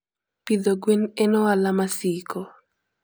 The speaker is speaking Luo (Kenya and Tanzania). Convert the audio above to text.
Pidho gwen en ohala masiko.